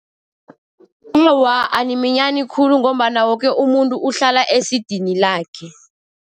Awa, animinyani khulu ngombana woke umuntu uhlala esidini lakhe.